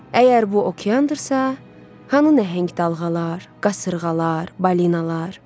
Əgər bu okeandırsa, hanı nəhəng dalğalar, qasırğalar, balinalar?